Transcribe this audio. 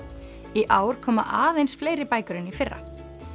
í ár koma aðeins fleiri bækur en í fyrra